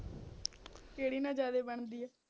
ਕਿਹੜੀ ਨਾਲ ਜ਼ਿਆਦਾ ਬਣਦੀ ਆ